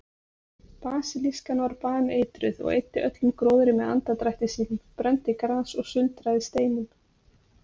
Basilískan var baneitruð og eyddi öllum gróðri með andardrætti sínum, brenndi gras og sundraði steinum.